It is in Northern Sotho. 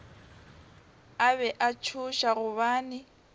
a be a tšhoša gobane